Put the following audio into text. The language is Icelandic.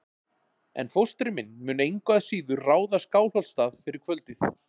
En fóstri minn mun engu að síður ráða Skálholtsstað fyrir kvöldið.